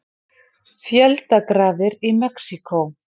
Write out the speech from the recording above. Fjöldagrafir í Mexíkó